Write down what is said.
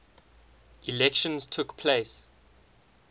elections took place